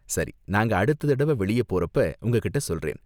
சரி, நாங்க அடுத்த தடவ வெளிய போறப்ப உங்ககிட்ட சொல்றேன்.